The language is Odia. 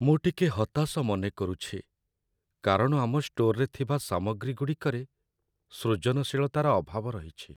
ମୁଁ ଟିକେ ହତାଶ ମନେକରୁଛି, କାରଣ ଆମ ଷ୍ଟୋରରେ ଥିବା ସାମଗ୍ରୀଗୁଡ଼ିକରେ ସୃଜନଶୀଳତାର ଅଭାବ ରହିଛି।